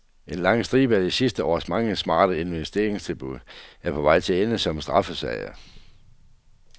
En lang stribe af de sidste års mange smarte investeringstilbud er på vej til at ende som straffesager.